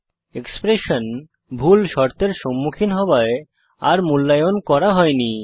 expression ভুল শর্তের সম্মুখীন হওয়ায় আর মূল্যায়ন করা হয়নি